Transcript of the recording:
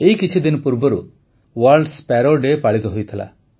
ଏଇ କିଛିଦିନ ପୂର୍ବରୁ ୱର୍ଲ୍ଡ ସ୍ପାରୋ ଡେ ପାଳିତ ହୋଇଥିଲା